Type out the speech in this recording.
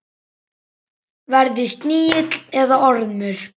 Verði snigill eða ormur.